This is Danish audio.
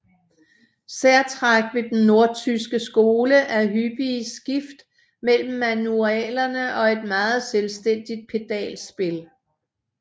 Særtræk ved den nordtyske skole er hyppige skift mellem manualerne og et meget selvstændigt pedalspil